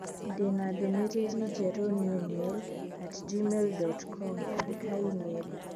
Ndĩ na ndũmĩrĩri njerũ newmail at gmail dot com andĩka e-mai